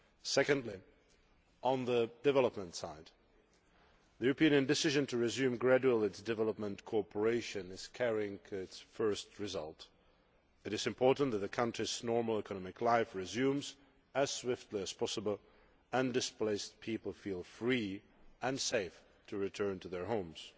Secondly, on the development side, the European decision to resume gradual aid development cooperation is carrying its first results. It is important that the country's normal economic life resume as swiftly as possible and that displaced people feel free and safe to return to their homes.